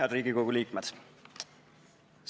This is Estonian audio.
Head Riigikogu liikmed!